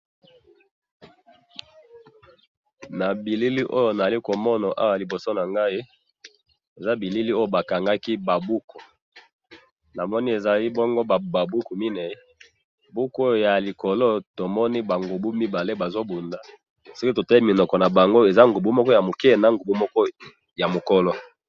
na bilili oyo nazali komona awa liboso nangai, eza bilili oyo bakangaki ba buku, namoni ezali bongo ba buku mine, buku oyo ya likolo tomoni ba ngubu mibale bazo bunda, siko totali minoko na bango eza ngubu moko ya muke, na ngubu moko ya mukolo